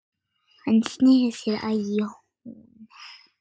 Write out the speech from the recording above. Hann sneri sér að Jóni.